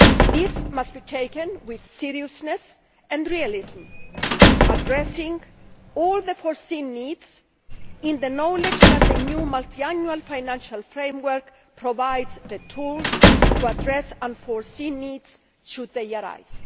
This must be taken with seriousness and realism, addressing all the foreseen needs in the knowledge that the new Multiannual Financial Framework provides the tools to address unforeseen needs should they arise.